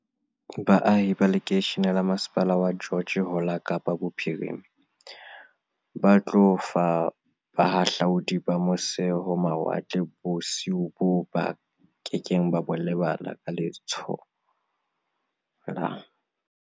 Baahi ba lekeishene la masepala wa George ho la Kapa Bophiri ma ba tlo fa bahahlaudi ba mose-ho-mawatle bosiu boo ba ke keng ba bo lebala ka le tsholo la